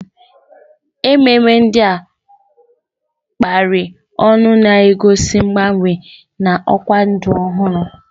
Ememe ndị a kapịrị ọnụ na-egosi mgbanwe na ọkwa ndụ ọhụrụ